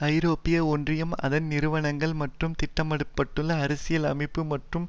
ஐரோப்பிய ஒன்றியம் அதன் நிறுவனங்கள் மற்றும் திட்டமிட பட்டுள்ள அரசியல் அமைப்பு மற்றும்